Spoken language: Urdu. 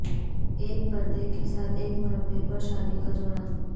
ایک پردہ کے ساتھ ایک مربع پر شادی کا جوڑا